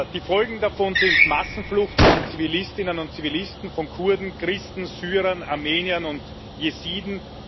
Die Folgen davon sind Massenflucht von Zivilistinnen und Zivilisten, von Kurden, Christen, Syrern, Armeniern und Jesiden.